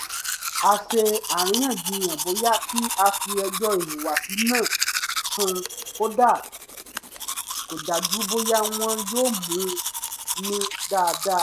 a ṣe àríyànjiyàn bóyá kí á fi ẹjọ́ ìhùwàsí náà sùn kò dájú bóyá wọn yóò mú un ní dáadáa